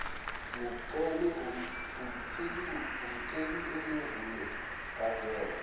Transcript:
ngeciki eledlule ngahlela